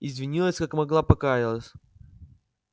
извинилась как могла покаялась